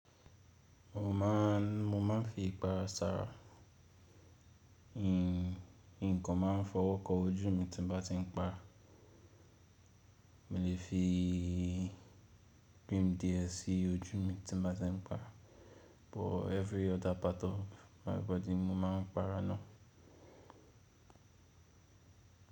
Mo máà ń, mo máà ń fi ipara sára. Nǹkan máà ń fọwọ́kọ ojú mi tí mo bá ti ń pa. Mo lè fi cream die sí ojú mi tí n bá ti ń para, but every other part of my body mo máà ń para ná.